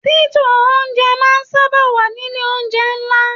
Tító oúnjẹ máa n sábà wà nílé oúnjẹ nlá.